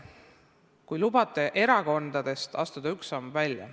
Kui lubate, astun erakondade teemast ühe sammu välja.